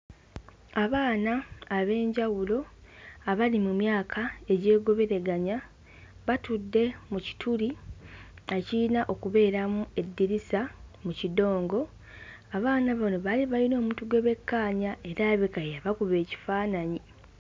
Abaana ab'enjawulo abali mu myaka egyogoberaganya, batudde mu kituli ekiyina okubeeramu eddirisa mu kidongo. Abaana bano baali bayina omuntu gwe bekkaanya era alabika ye yabakuba ekifaananyi.